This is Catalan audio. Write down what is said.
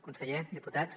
conseller diputats